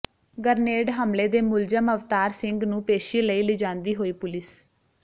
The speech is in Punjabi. ਗਰਨੇਡ ਹਮਲੇ ਦੇ ਮੁਲਜ਼ਮ ਅਵਤਾਰ ਸਿੰਘਨੂੰ ਪੇਸ਼ੀ ਲਈ ਲਿਜਾਂਦੀ ਹੋਈ ਪੁਲਿਸ